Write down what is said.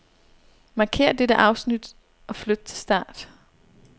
Markér dette afsnit og flyt til start.